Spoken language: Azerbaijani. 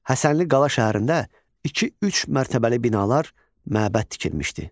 Həsənli qala şəhərində iki-üç mərtəbəli binalar, məbəd tikilmişdi.